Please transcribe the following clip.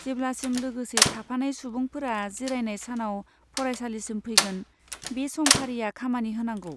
जेब्लासिम लोगोसे थाफानाय सुबुंफोरा जिरायनाय सानाव फरायसालिसिम फैगोन, बे समफारिआ खामानि होनांगौ।